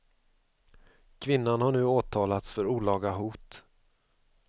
Kvinnan har nu åtalats för olaga hot.